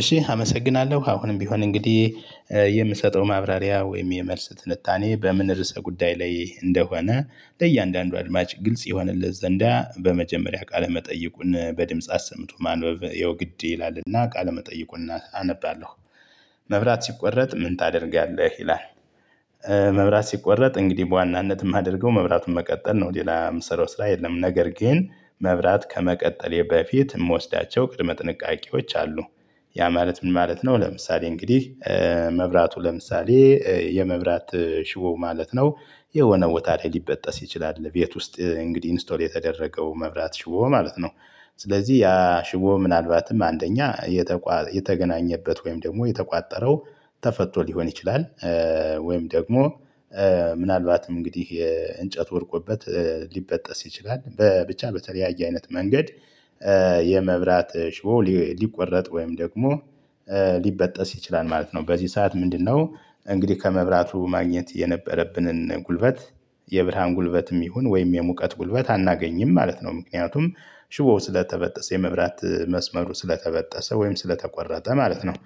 እሺ አመሰግናለሁ አሁንም ቢሆን እንግዲህ የምሰጠው ማብራሪያ ወይም የመልስ ትንታኔ በምን ርዕሰ ጉዳይ ላይ እንደሆነ ለእያንዳንዱ አድማጭ ግልጽ ይሆንለት ዘንዳ በመጀመሪያ ቃለመጠይቁን በድምጽ አሰምቶ ማንበብ የውግዴ ይላልና ቃለመጠይቁን አነባለሁ። መብራት ሲቆረጥ ምን ታደርጋለህ? ይላል። መብራት ሲቆረጥ እንግዲህ በዋናነት የማደርገው መብራቱን መቀጠል ነው ሌላ የምሰራው ስራ የለም። ነገር ግን መብራት ከመቀጠሌ በፊት የምወስዳቸው ቅድመ ጥንቃቄዎች አሉ። ያ ማለት ምን ማለት ነው? ለምሳሌ እንግዲህ መብራቱ ለምሳሌ የመብራት ሽቦው ማለት ነው የሆነ ቦታ ላይ ሊበጠስ ይችላል። ቤት ውስጥ እንግዲህ ኢንስቶል የተደረገው መብራት ሽው ማለት ነው። ስለዚህ ያ ሽጎ ምናልባትም አንደኛ የተገናኘበት ወይም ደግሞ የተቋጠረው ተፈቶ ሊሆን ይችላል። ወይም ደግሞ ምናልባትም እንግዲህ የእንጨት ወድቆበት ሊበጠስ ይችላል። በብቻ በተለያየ አይነት መንገድ የመብራት ሽቦ ሊቆረጥ ወይም ደግሞ ሊበጠስ ይችላል ማለት ነው። በዚህ ሰዓት ምንድነው እንግዲህ ከመብራቱ ማግኘት የነበረብንን ጉልበት የብርሃን ጉልበትም ይሁን ወይም የሙቀት ጉልበት አናገኝም ማለት ነው። ምክንያቱም ሽቦው ስለተበጠሰ የመብራት መስመሩ ስለተበጠሰ ወይም ስለተቆረጠ ማለት ነው።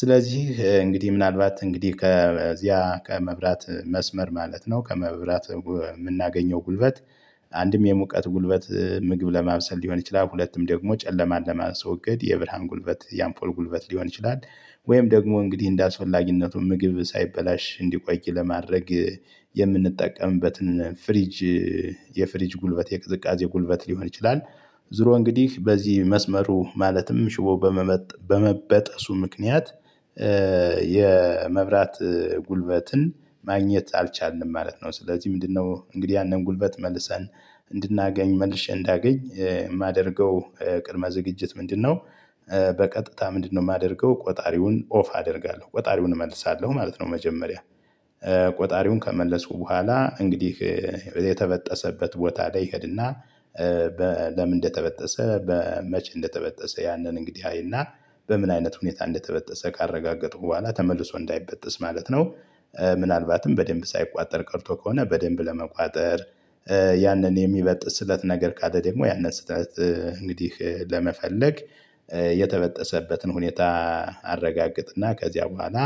ስለዚህ እንግዲህ ምናልባት እንግዲህ ከዚያ ከመብራት መስመር ማለት ነው ከመብራት የምናገኘው ጉልበት። አንድም የሙቀት ጉልበት ምግብ ለማብሰል ሊሆን ይችላል ሁለቱም ደግሞ ጨለማን ለማስወገድ የብርሃን ጉልበት የአምፖል ጉልበት ሊሆን ይችላል። ወይም ደግሞ እንግዲህ እንደ አስፈላጊነቱ ምግብ ሳይበላሽ እንዲቆይ ለማድረግ የምንጠቀምበትን ፍሪጅ። የፍሪጅ ጉልበት የቅዝቃዜ ጉልበት ሊሆን ይችላል። ዙሮ እንግዲህ በዚህ መስመሩ ማለትም ሽቦ በመበጠሱ ምክንያት የመብራት ጉልበትን ማግኘት አልቻልንም ማለት ነው። ስለዚህ ምንድነው እንግዲህ ያንን ጉልበት መልሰን እንድናገኝ መልሼ እንዳገኝ የማደርገው ቅድመ ዝግጅት ምንድነው? በቀጥታ ምንድነው የማደርገው ቆጣሪውን ኦፍ አደርጋለሁ ቆጣሪውን እመልሳለሁ ማለት ነው። መጀመሪያ ቆጣሪውን ከመለሱ በኋላ እንግዲህ የተበጠሰበት ቦታ ላይ ይሄድና ለምን እንደተበጠሰ መቼ እንደተበጠሰ ያንን እንግዲህ አይና በምን አይነት ሁኔታ እንደተበጠሰ ካረጋገጠው በኋላ ተመልሶ እንዳይበጥስ ማለት ነው። ምናልባትም በደንብ ሳይቆጠር ቀርቶ ከሆነ በደንብ ለመቆጠር ያንን የሚበጥስለት ነገር ቃል ደግሞ ያንን ስህተት እንግዲህ ለመፈለግ የተበጠሰበትን ሁኔታ አረጋግጥና ከዚያ በኋላ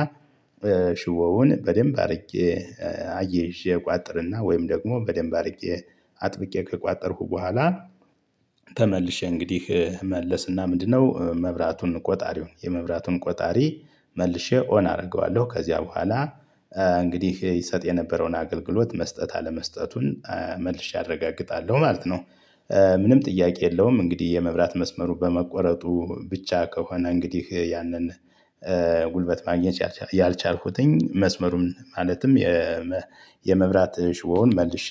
ሽቦውን በደንብ አድርጌ አየይዠ እቋጥርና ወይም ደግሞ በደንብ አድርጌ አጥብቄ ከቆጠርኩ በኋላ ተመልሼ እንግዲህ መለስና ምንድነው መብራቱን ቆጣሪውን የመብራቱን ቆጣሪ መልሼ ኦና አደርገዋለሁ ከዚያ በኋላ እንግዲህ ይሰጥ የነበረውን አገልግሎት መስጠት አለመስጠቱን መልሼ አረጋግጣለሁ ማለት ነው። ምንም ጥያቄ የለውም እንግዲህ የመብራት መስመሩ በመቆረጡ ብቻ ከሆነ እንግዲህ ያንን ጉልበት ማግኘት ያልቻልኩትኝ መስመሩን ማለትም የመብራት ሽቦውን መልሼ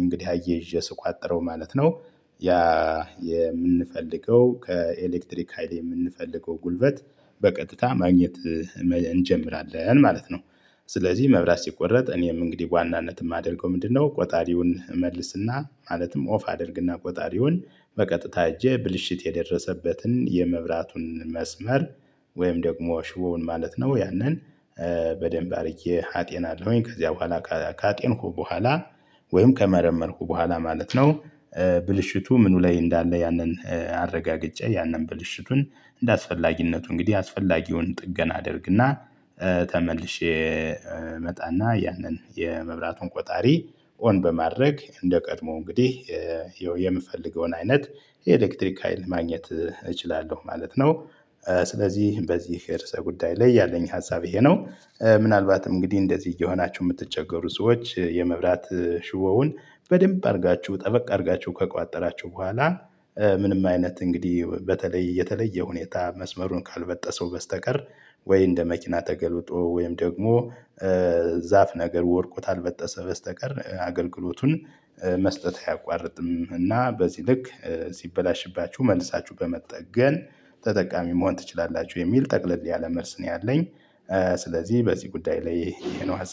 እንግዲህ አየይዤ ስቋጠረው ማለት ነው። ያ የምንፈልገው ከኤሌክትሪክ ሀይል የምንፈልገው ጉልበት በቀጥታ ማግኘት እንጀምራለን ማለት ነው። ስለዚህ መብራት ሲቆረጥ እኔም እንግዲህ ዋናነትም አድርገው ምንድነው ቆጣሪውን እመልስና ማለትም ኦፍ አድርግና ቆጣሪውን በቀጥታ ሄጄ ብልሽት የደረሰበትን የመብራቱን መስመር ወይም ደግሞ ሽቦውን ማለት ነው ያንን በደንብ አድርጌ አጤናለውኝ ከዚያ በኋላ ካጤንኩ በኋላ ወይም ከመረመርኩ በኋላ ማለት ነው። ብልሽቱ ምኑ ላይ እንዳለ ያንን አረጋግጬ ያንን ብልሽቱን እንደአስፈላጊነቱ እንግዲህ አስፈላጊውን ጥገና አድርግና ተመልሼ እመጣና ያንን የመብራቱን ቆጣሪ ኦን በማድረግ እንደቀድሞ እንግዲህ የምፈልገውን አይነት የኤሌክትሪክ ሀይል ማግኘት እችላለሁ ማለት ነው። ስለዚህ በዚህ የርዕሰ ጉዳይ ላይ ያለኝ ሀሳብ ይሄ ነው። ምናልባት እንግዲህ እንደዚህ እየሆናችሁ የምትቸገሩ ሰዎች የመብላት ሽቦውን በደንብ አድርጋችሁ ጠበቅ አድርጋችሁ ከቋጠራችሁ በኋላ ምንም አይነት እንግዲህ በተለይ የተለየ ሁኔታ መስመሩን ካልበጠሰው በስተቀር ወይ እንደ መኪና ተገልብጦ ወይም ደግሞ ዛፍ ነገር ወድቆ ታልበጠሰ በስተቀር አገልግሎቱን መስጠት አያቋርጥም። እና በዚህ ልክ ሲበላሽባችሁ መልሳችሁ በመጠቀም ተጠቃሚ መሆን ትችላላችሁ የሚል ጠቅለል ያለ መልስ ነው ያለኝ። ስለዚህ በዚህ ጉዳይ ላይ ይሄ ነው